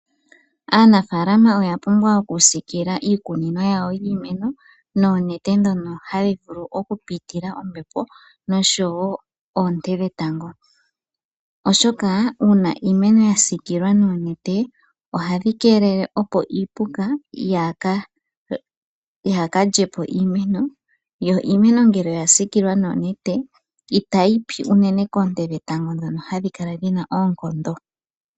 Aanafaalama oya pumbwa oku siikilila iikunino yawo yiimeno noonete ndhono hadhi vulu oku pitila ombepo noshowo oonte dhetango, oshoka uuna iimeno ya siikilwa noonete ohadhi keelele opo iipuka yaa ka lye po iimeno, yo iimeno ngele oya siikilwa noonete itayi pi unene koonte dhetango ndhono hadhi kala dhina oonkondo.